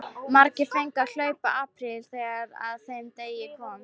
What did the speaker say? Margir fengu að hlaupa apríl þegar að þeim degi kom.